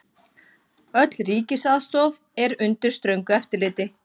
Öll ríkisaðstoð er undir ströngu eftirliti.